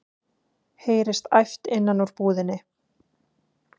heyrist æpt innan úr búðinni.